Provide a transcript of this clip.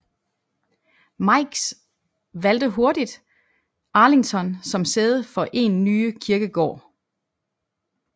Meigs valgte hurtigt Arlington som sæde for en nye kirkegård